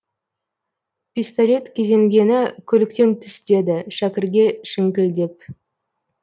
пистолет кезенгені көліктен түс деді шәкірге шіңкілдеп